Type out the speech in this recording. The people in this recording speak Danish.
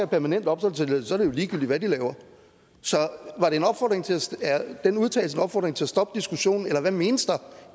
permanent opholdstilladelse er det jo ligegyldigt hvad de laver så er den udtalelse en opfordring til at stoppe diskussionen eller hvad menes der